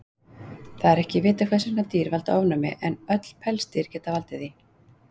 Það er ekki vitað hvers vegna dýr valda ofnæmi, en öll pelsdýr geta valdið því.